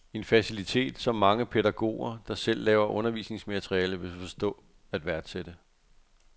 En facilitet, som mange pædagoger, der selv laver undervisningsmateriale, vil forstå at værtsætte.